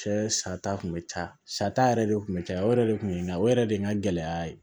Cɛ sata kun bɛ caya sa yɛrɛ de kun bɛ caya o yɛrɛ de kun ye nka o yɛrɛ de ye n ka gɛlɛya ye